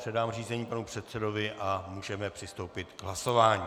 Předám řízení panu předsedovi a můžeme přistoupit k hlasování.